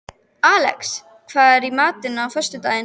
Alex, hvað er í matinn á föstudaginn?